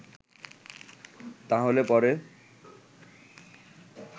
তাহলে পরে